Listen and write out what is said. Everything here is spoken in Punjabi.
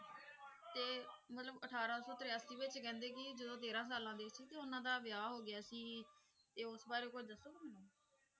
ਤੇ ਮਤਲਬ ਅਠਾਰਾਂ ਸੌ ਤਰਾਸੀ ਵਿੱਚ ਕਹਿੰਦੇ ਕਿ ਜਦੋਂ ਤੇਰਾਂ ਸਾਲਾਂ ਦੇ ਸੀ ਤਾਂ ਉਹਨਾਂ ਦਾ ਵਿਆਹ ਹੋ ਗਿਆ ਸੀ ਤੇ ਉਸ ਬਾਰੇ ਕੁੱਝ ਦੱਸੋਗੇ ਮੈਨੂੰ?